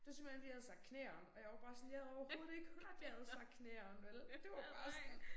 Det var simpelthen fordi jeg havde sagt knæeene og jeg var bare sådan jeg havde overhovedet ikke hørt jeg havde sagt knæeene vel det var bare sådan